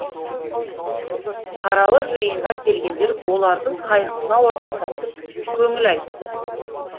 қаралы жиынға келгендер олардың қайғысына ортақтасып көңіл айтты